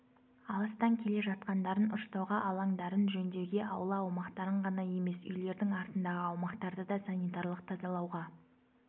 алыстан келе жатқандарын ұштауға алаңдарын жөндеуге аула аумақтарын ғана емес үйлердің артындағы аумақтарды да санитарлық тазалауға